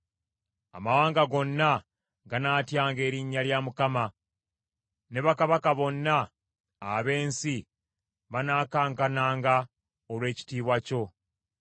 Amawanga gonna ganaatyanga erinnya lya Mukama ; ne bakabaka bonna ab’ensi banaakankananga olw’ekitiibwa kyo.